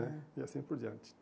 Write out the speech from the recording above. Né? E assim por diante.